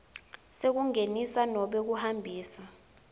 sekungenisa nobe kuhambisa